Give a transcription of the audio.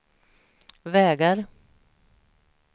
vägar